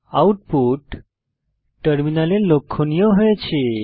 output টার্মিনালে লক্ষনীয় হয়েছে